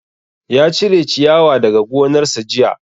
Ya cire ciyawa daga gonar sa jiya